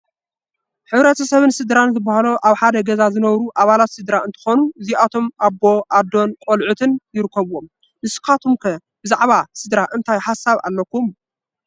ሕ/ሰብን ስድራን ዝባሃሉ ኣብ ሓደ ገዛ ዝነብሩ ኣባላት ስድራ እንትኾኑ እዚኣቶም ኣቦ፣ ኣዶን ቆልዑትን ይርከብዎም፡፡ ንስኻትኩም ከ ብዛዕባ ስድራ እንታይ ሓሳብ ኣለኩም?